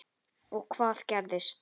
Þórir: Og hvað gerist?